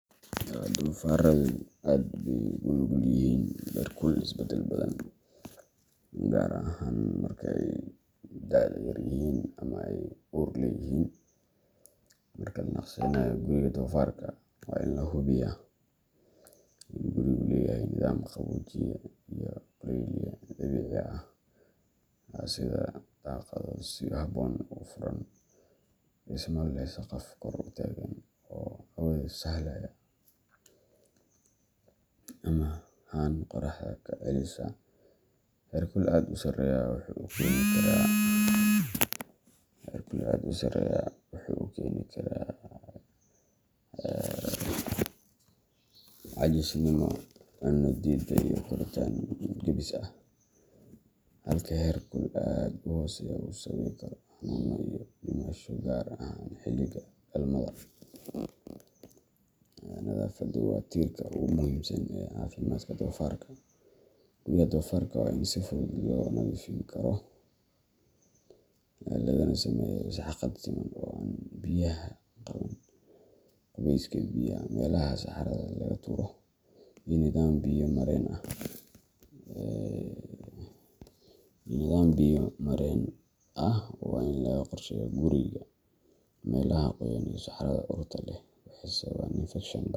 Doofarradu aad bay ugu nugul yihiin heerkul isbeddel badan, gaar ahaan marka ay da'da yar yihiin ama ay uur leeyihiin. Marka la naqshadeynayo guriga doofarka, waa in la hubiyaa in gurigu leeyahay nidaam qaboojiye iyo kulayliye dabiici ah sida daaqado si habboon u furan, dhismo leh saqaf kor u taagan oo hawada sahlaya, ama haan qorraxda ka celisa. Heerkul aad u sareeya wuxuu keeni karaa caajisnimo, cunno diiddo, iyo koritaan gaabis ah, halka heerkul aad u hooseeyaa uu sababi karo xanuuno iyo dhimasho, gaar ahaan xilliga dhalmada. Nadaafaddu waa tiirka ugu muhiimsan ee caafimaadka doofarka. Guryaha doofarka waa in si fudud loo nadiifin karo, lagana sameeyo sagxad siman oo aan biyaha qaban. Qubeyska biyaha, meelaha saxarada laga tuuro, iyo nidaam biyo-mareen ah waa in laga qorsheeyaa guriga. Meelaha qoyan iyo saxarada urta leh waxay sababaan infekshan badan.